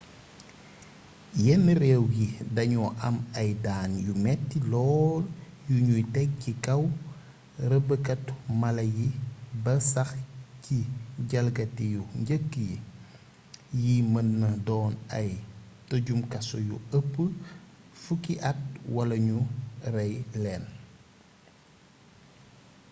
yenn réew yi dañoo am ay daan yu metti lool yuñuy tekk ci kaw rêbbkati mala yi ba sax ci jalgati yu njëkk yi yi mën naa doon ay tëjum kaso yu ëpp 10 at wala ñu rey leen